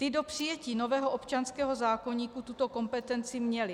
Ty do přijetí nového občanského zákoníku tuto kompetenci měly.